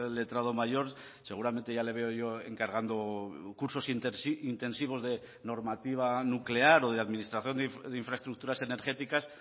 letrado mayor seguramente ya le veo yo encargando cursos intensivos de normativa nuclear o de administración de infraestructuras energéticas